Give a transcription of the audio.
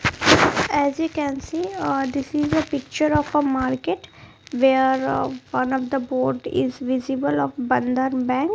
as we can see uh this is a picture of a market where uh one of the board is visible of bandhan bank.